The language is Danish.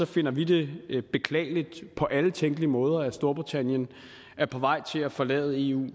finder vi det beklageligt på alle tænkelige måder at storbritannien er på vej til at forlade eu og